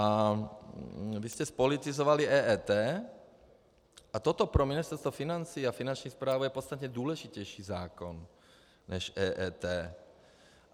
A vy jste zpolitizovali EET a toto pro Ministerstvo financí a Finanční správu je podstatně důležitější zákon než EET.